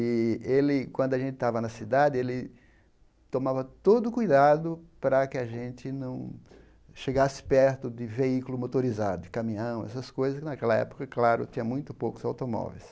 E ele, quando a gente estava na cidade, ele tomava todo o cuidado para que a gente não chegasse perto de veículos motorizados, de caminhão, essas coisas que naquela época, é claro, tinham muito poucos automóveis.